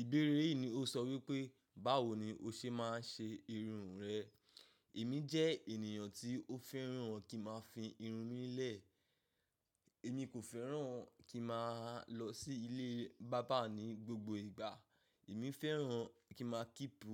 Ìbéèrè yìí ni o sọ wípé, báwo ni o ṣe ma ṣe irun rẹ? Èmi jẹ́ ènìyàn tí ó fẹ́ràn kí n máa fi irun mí lẹ́ẹ̀. Èmi kò fẹ́ràn kí n máa lọ sí ilé bábà ní gbogbo ìgbà. Èmi fẹ́ràn kí n máa kípo